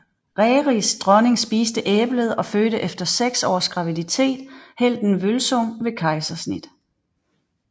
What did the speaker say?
Rerirs dronning spiste æblet og fødte efter seks års graviditet helten Vølsung ved kejsersnit